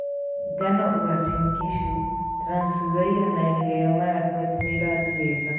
Ngano Uasin Gishu, Trans Nzoia, na Elgeyo Marakwet nĩĩrathiĩ wega